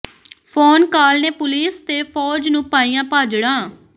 phone call ਨੇ police ਤੇ ਫੌਜ ਨੂੰ ਪਾਈਆਂ ਭਾਜੜਾਂ